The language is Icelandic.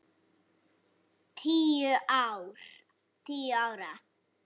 Tíu ára.